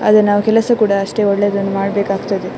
ಆದ್ರೆ ಕೆಲಸ ಕೂಡ ನಾವು ಅಷ್ಟೇ ಒಳ್ಳೇದು ಮಾಡಬೇಕಾಗುತ್ತದೆ.